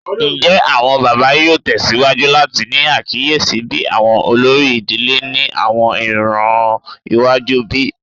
Njẹ awọn baba yoo tẹsiwaju lati ni akiyesi bi awọn olori idile ni awọn iran iwaju bi?